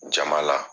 Jama la